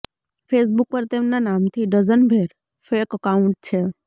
Facebook પર તેમના નામથી ડઝનભેર ફેક એકાઉન્ટ છે